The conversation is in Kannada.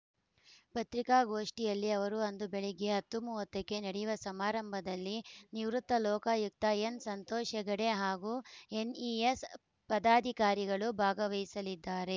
ಪತ್ರಿಕಾಗೋಷ್ಠಿಯಲ್ಲಿ ಅವರು ಅಂದು ಬೆಳಗ್ಗೆ ಹತ್ತು ಮೂವತ್ತಕ್ಕೆ ನಡೆಯುವ ಸಮಾರಂಭದಲ್ಲಿ ನಿವೃತ್ತ ಲೋಕಾಯುಕ್ತ ಎನ್‌ಸಂತೋಷ್‌ ಹೆಗಡೆ ಹಾಗೂ ಎನ್‌ಇಎಸ್‌ ಪದಾಧಿಕಾರಿಗಳು ಭಾಗವಹಿಸಲಿದ್ದಾರೆ